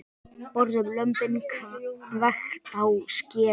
Borðum lömbin, hvekkt á skeri.